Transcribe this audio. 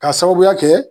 K'a sababuya kɛ